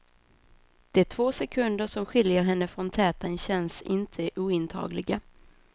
De två sekunder som skiljer henne från täten känns inte ointagliga.